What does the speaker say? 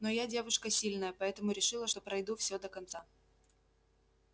но я девушка сильная поэтому решила что пройду всё до конца